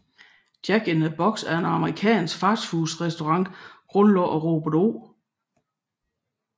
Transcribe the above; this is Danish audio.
Jack in the Box er en amerikansk fastfood restaurant grundlagt af Robert O